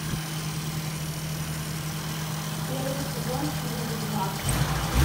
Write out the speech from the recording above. первый сезон фильм ведьмак